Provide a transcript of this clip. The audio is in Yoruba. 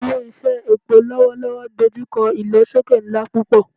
Ile-iṣẹ epo lọwọlọwọ n dojukọ ilosoke nla pupọ